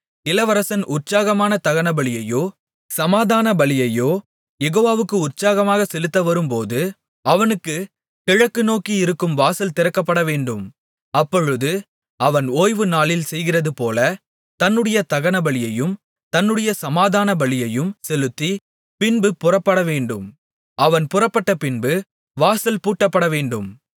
இளவரசன் உற்சாகமான தகனபலியையோ சமாதான பலிகளையோ யெகோவாவுக்கு உற்சாகமாகச் செலுத்த வரும் போது அவனுக்குக் கிழக்கு நோக்கி இருக்கும் வாசல் திறக்கப்படவேண்டும் அப்பொழுது அவன் ஓய்வு நாளில் செய்கிறதுபோல தன்னுடைய தகனபலியையும் தன்னுடைய சமாதான பலியையும் செலுத்தி பின்பு புறப்படவேண்டும் அவன் புறப்பட்டபின்பு வாசல் பூட்டப்படவேண்டும்